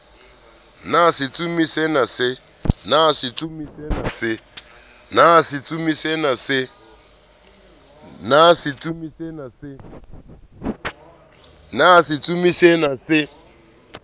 na setsomi se ne se